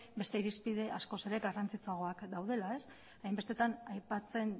beste irizpide askoz ere garrantzitsuagoak daudela hainbestetan aipatzen